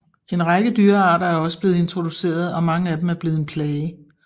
En række dyrearter er også blevet introduceret og mange af dem er blevet en plage